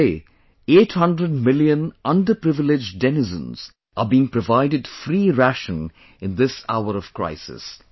Today, 800 million underprivileged denizens are being provided free ration in this hour of crisis